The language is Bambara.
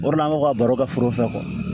O de la an bɛ ka baro kɛ foro fɛ